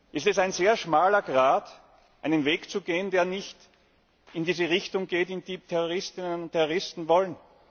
ist es ein sehr schmaler Grat, einen Weg zu gehen, der nicht in diese Richtung geht, in die Terroristinnen und Terroristen wollen.